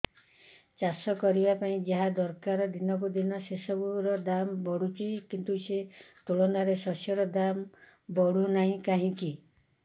ଚାଷ କରିବା ପାଇଁ ଯାହା ଦରକାର ଦିନକୁ ଦିନ ସେସବୁ ର ଦାମ୍ ବଢୁଛି କିନ୍ତୁ ସେ ତୁଳନାରେ ଶସ୍ୟର ଦାମ୍ ବଢୁନାହିଁ କାହିଁକି